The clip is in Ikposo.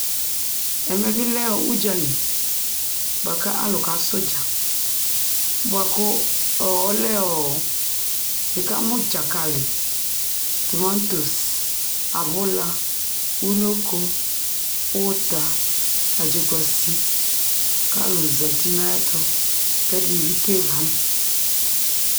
Ɛmɛ bɩ lɛ ʋdzali bʋa kʋ alʋ kasɛ ʋdza, bʋa kʋ ɔ ɔlɛ ɔ nɩkamʋ dzakalɩ, tʋmatos, abʋla, unoko, ʋta, adzʋkuasɩ kʋ alʋ zati nʋ ayɛtʋ kʋ ɛdɩnɩ bɩ kewu